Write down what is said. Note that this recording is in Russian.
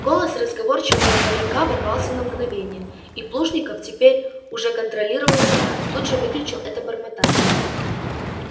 голос разговорчивого паренька ворвался на мгновение и плужников теперь он уже контролировал себя тут же выключил это бормотание